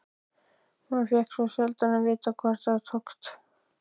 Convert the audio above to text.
Maður fékk svo sjaldan að vita hvort það tókst.